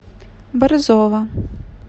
борзова